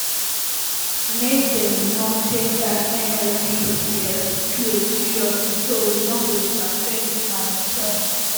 make dem no take dat nnpcl claim seriously though we no go interfere wit am e tok